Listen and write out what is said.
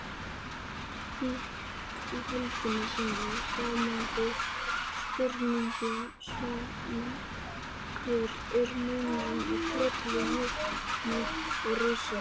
Í heild sinni hljómaði spurningin svona: Hver er munurinn á trölli, jötni og risa?